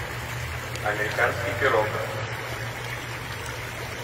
американский пирог